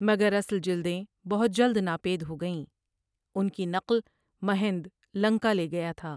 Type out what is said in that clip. مگر اصل جلدیں بہت جلد ناپید ہوگئیں ان کی نقل مہند لنکا لے گیا تھا ۔